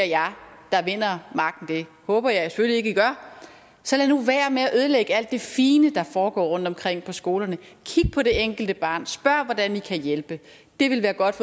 jer der vinder magten det håber jeg selvfølgelig ikke i gør så lad nu være med at ødelægge alt det fine der foregår rundtomkring på skolerne kig på det enkelte barn spørg hvordan i kan hjælpe det vil være godt